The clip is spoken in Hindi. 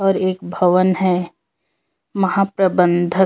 और एक भवन है महाप्रबंधक --